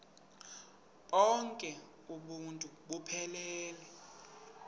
bonk uuntu buphelele